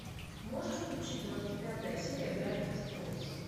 можешь включить двадцать пятая серия гравити фолз